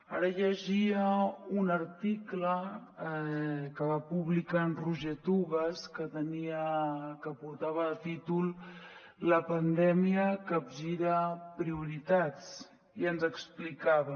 ara llegia un article que va publicar en roger tugas que portava per títol la pandèmia capgira prioritats i ens explicava